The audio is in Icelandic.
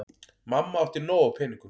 Mamma átti nóg af peningum.